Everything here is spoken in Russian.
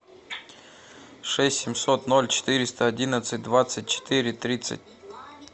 шесть семьсот ноль четыреста одиннадцать двадцать четыре тридцать